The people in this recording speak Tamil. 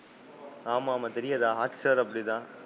ஆமா, ஆமா தெரியாத. Hot star அப்படிதான்.